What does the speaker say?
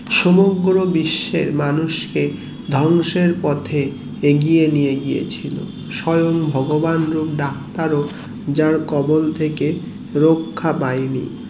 সমগ্র বিশ্বের মানুষকে ধ্বংসের পথে এগিয়ে নিয়ে গিয়েছিলো স্বয়ং ভগবান হোক ডাক্তার হোক যার কবল থেকে রক্ষা পাইনি